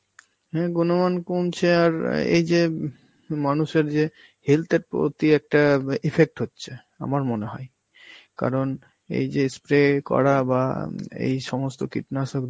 হ্যাঁ গুনমান কমছে আর এই যে মানুষের যে health এর প্রতি একটা ব~ আ effect হচ্ছে আমার মনে হয়. কারণ এই যে spray করা বা আম এই সমস্ত কীটনাশক